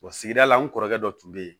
sigida la n kɔrɔkɛ dɔ tun bɛ yen